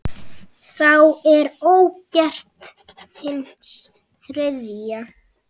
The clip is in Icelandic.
Þá er ógetið hins þriðja.